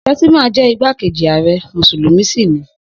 Shettima jẹ́ igbákejì ààrẹ ó sì mùsùlùmí sì ni.